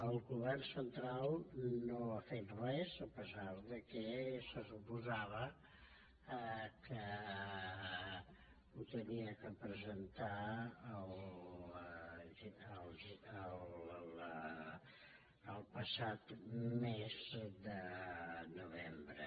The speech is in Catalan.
el govern central no ha fet res a pesar que se suposava que ho havia de presentar el passat mes de novembre